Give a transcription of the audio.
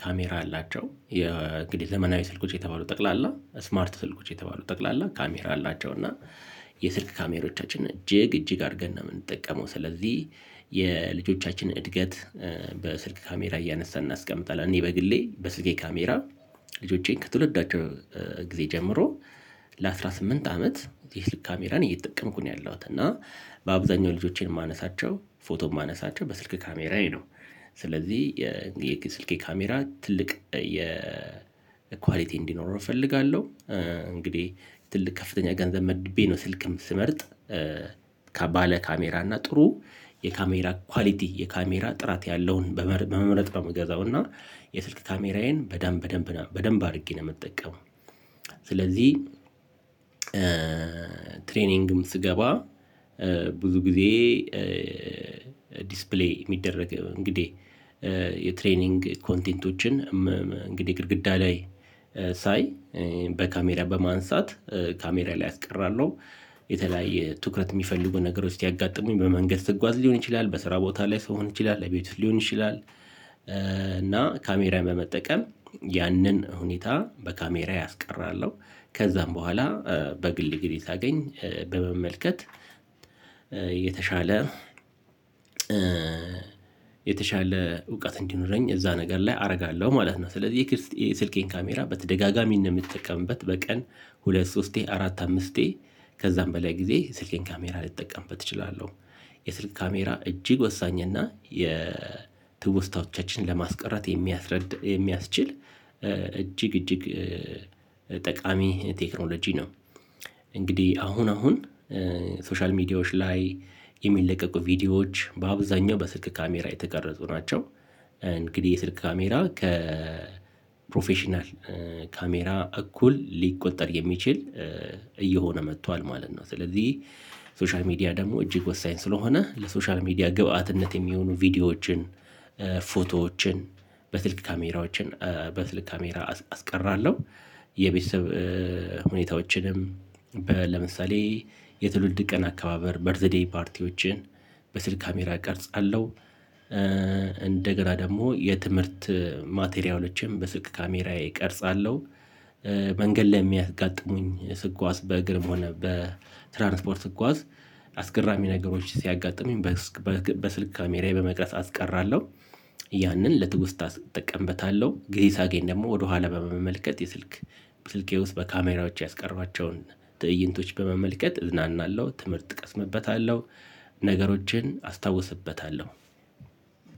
ካሜራ አላቸው የእንግዲህ ዘመናዊ ስልኮች የተባሉ ጠቅላላ ስማርት ስልኮች የተባሉ ጠቅላላ ካሜራ አላቸው እና የስልክ ካሜሮቻችን እጅግ እጅግ አድርገን ነው የምንጠቀመው ስለዚህ የልጆቻችን እድገት በስልክ ካሜራ እያነሳን እናስቀምጣለን እኔ በግሌ በስልኬ ካሜራ ልጆቼን ከትውልዳቸው ጊዜ ጀምሮ ለአስራ ስምንት አመት የስልክ ካሜራን እየተጠቀምኩ ነው ያለሁት እና በአብዛኛው ልጆቼን ማነሳቸው ፎቶ ማነሳቸው በስልክ ካሜራዬ ነው ስለዚህ የስልኬ ካሜራ ትልቅ የኳሊቲ እንዲኖረው እፈልጋለሁ። እንግዲህ ትልቅ ከፍተኛ ገንዘብ መድቤ ነው ስልክም ስመርጥ ካሜራ እና ጥሩ የካሜራ ኳሊቲ የካሜራ ጥራት ያለውን በመምረጥ ነው ምገዛው እና የስልክ ካሜራዬን በደንብ በደንብ በደንብ አድርጌ ነው የምትጠቀመው። ስለዚህ ትሬኒንግም ስገባ ብዙ ጊዜ ዲስፕሌይ የሚደረግ እንግዲህ የትሬንግ ኮንቴንቶችን እንግዲህ ግድግዳ ላይ ሳይ በካሜራ በማንሳት ካሜራ ላይ አስቀራለሁ የተለያየ ትኩረት የሚፈልጉ ነገሮች ያጋጠሙኝ በመንገድ ስትጓዝ ሊሆን ይችላል በስራ ቦታ ላይ ሰው ሊሆን ይችላል አቤቱ ሊሆን ይችላል እና ካሜራን በመጠቀም ያንን ሁኔታ በካሜርዬ ከዛም በኋላ በግል ጊዜ ሳገኝ በመመልከት የተሻለ እውቀት እንዲኖረኝ እዛ ነገር ላይ አርጋለሁ ማለት ነው። ስለዚህ የስልኬን ካሜራ በተደጋጋሚ ነው የምትጠቀምበት በቀን ሁለት ሶስቴ አራት አምስቴ ከዛም በላይ ጊዜ ስልኬን ካሜራ ልጠቀምበት እችላለሁ። የስልክ ካሜራ እጅግ ወሳኝ እና የ የትውስታዎቻችን ለማስቀረት የሚያስችል እጂግ እጂግ ጠቃሚ ቴክኖሎጂ ነው። እንግዲህ አሁን አሁን ሶሻል ሚዲያዎች ላይ የሚለቀቁ ቪዲዮዎች በአብዛኛው በስልክ ካሜራ የተቀረጹ ናቸው። እንግዲህ የስልክ ካሜራ ከፕሮፌሽናል ካሜራ እኩል ሊቆጠር የሚችል እየሆነ መጥቷል ማለት ነው። ስለዚህ ሶሻል ሚዲያ ደግሞ እጅግ ወሳኝ ስለሆነ ለሶሻል ሚዲያ ግብአትነት የሚሆኑ ቪዲዮዎችን ፎቶዎችን በትልቅ ካሜራዎችን በስልክ ካሜራ አስቀራለሁ። የቤተሰብ ሁኔታዎችንም ለምሳሌ የትውልድ ቀን አካባበር በርዘደይ ፓርቲዎችን በስልክ ካሜራ እቀርጻለሁ። እንደገና ደግሞ የትምህርት ማቴሪያሎችም በስልክ ካሜራዬ እቀርጻለሁ። መንገድ ላይ የሚያጋጥሙኝ ስጓዝ በእግርም ሆነ በትራንስፖርት ስጓዝ አስገራሚ ነገሮች ሲያጋጥሙኝ በስልክ ካሜራዬ በመቅረፅ አስቀራለሁ። ያንን ለትውስታ እጠቀምበታለሁ ጊዜ ሳገኝ ደግሞ ወደኋላ በመመልከት የስልክ ስልኬ ውስጥ በካሜራዎች ያስቀሯቸውን ትእይንቶች በመመልከት እዝናናለሁ ትምህርት እቀስምበታለሁ ነገሮችን አስታውስበታለሁ።